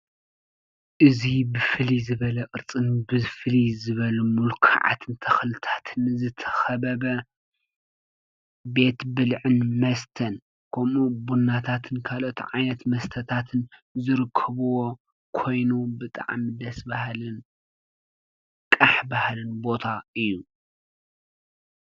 እዙይ ብፍሊ ዝበለ ቕርፅን ብፍሊ ዝበሉ ምልካዓትን ተኽልታትን ዘተኸበበ ቤት ብልዕን መስተን ምኡ ብናታትን ካልቶ ዓነት መስተታትን ዘርክብዎ ኮይኑ ብጥዓ ምደስ በሃልን ቃሕ ባሃልን ቦታ እዩ።